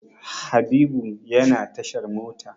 Habibu yana tashar mota.